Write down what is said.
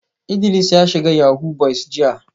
Idris ya shiga yahoo boys jiya